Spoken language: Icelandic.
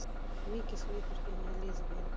Mikið hlýtur henni að líða vel.